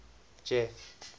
jeff